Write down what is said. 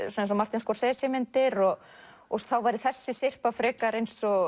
Martin myndir og og þá væri þessi syrpa frekar eins og